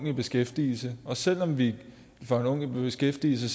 i beskæftigelse og selv om vi får den unge i beskæftigelse